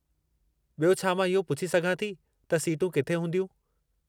ॿियो, छा मां इहो पूछी सघां थी त सीटूं किथे हूंदियूं?